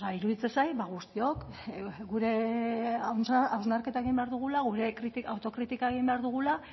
iruditzen zait ba guztiok gure hausnarketa egin behar dugula gure autokritika egin behar dugula